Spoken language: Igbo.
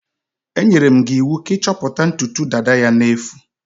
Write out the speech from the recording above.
Enyere m gi iwu ka i choputa ntutu dada ya na-efu.